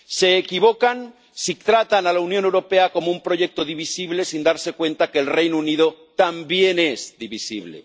Se equivocan si tratan a la Unión Europea como un proyecto divisible sin darse cuenta de que el Reino Unido también es divisible.